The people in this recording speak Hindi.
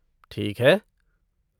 ठीक है।